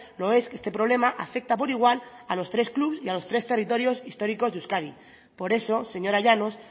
lo es que este problema afecta por igual a los tres clubs y a los tres territorios históricos de euskadi por eso señora llanos